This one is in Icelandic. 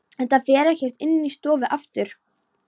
Þetta fer ekkert inn í stofu aftur!